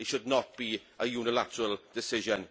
It should not be a unilateral decision.